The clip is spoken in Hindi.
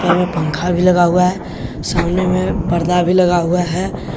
रूम में पंखा भी लगा हुआ है सामने में पर्दा भी लगा हुआ है।